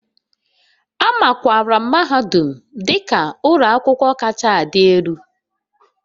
A makwaara mahadum dị ka ụlọ akwụkwọ kacha adị elu